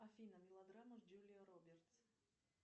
афина мелодрама с джулией робертс